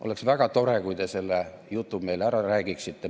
Oleks väga tore, kui te selle jutu meile ära räägiksite.